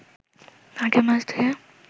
আগে মাছ ধুয়ে